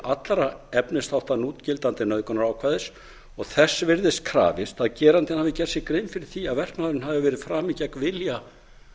allra efnisþátta núgildandi nauðgunarákvæðis og þess virðist krafist að gerandinn hafi gert sér grein fyrir því að verknaðurinn hafi verið framinn gegn vilja